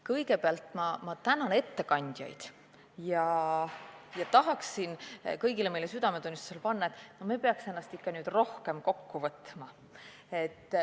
Kõigepealt ma tänan ettekandjaid ja tahan meile kõigile südamele panna, et me peaks ennast ikka rohkem kokku võtma.